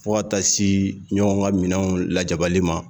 Fo ka taa se ɲɔgɔn ka minɛnw lajabali ma